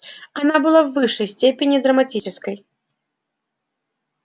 она была в высшей степени драматической